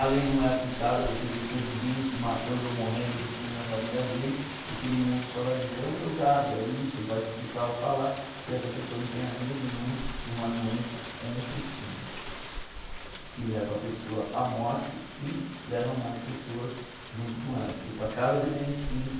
A lei não é aplicada, você vê seu vizinho se matando ou morrendo ou destruindo a família dele e todo mundo só vai dizer é um drogado, é isso, vai criticar ou falar e essa pessoa não tem ajuda nenhuma de uma doença compulsiva que leva a pessoa à morte e leva mais pessoas junto com ela, porque para cada dependente químico